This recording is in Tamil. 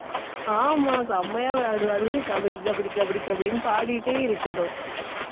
ஆமா, செம்மையா விளையாடுவேன். அது வந்து, கபடி, கபடி கபடி கபடின்னு பாடிட்டே இருக்கணும்.